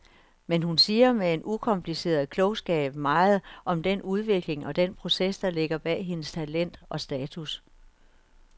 Men hun siger med en ukompliceret klogskab meget om den udvikling og den proces, der ligger bag hendes talent og status.